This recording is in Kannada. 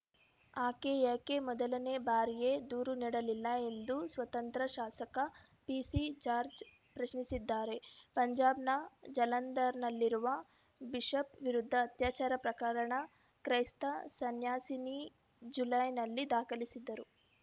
ಆಕೆ ಯಾಕೆ ಮೊದಲನೇ ಬಾರಿಯೇ ದೂರು ನಡಲಿಲ್ಲ ಎಂದು ಸ್ವತಂತ್ರ ಶಾಸಕ ಪಿಸಿ ಜಾರ್ಜ್ ಪ್ರಶ್ನಿಸಿದ್ದಾರೆ ಪಂಜಾಬ್‌ನ ಜಲಂಧರ್‌ನಲ್ಲಿರುವ ಬಿಷಪ್‌ ವಿರುದ್ಧ ಅತ್ಯಾಚಾರ ಪ್ರಕರಣ ಕ್ರೈಸ್ತ ಸನ್ಯಾಸಿನಿ ಜುಲೈನಲ್ಲಿ ದಾಖಲಿಸಿದ್ದರು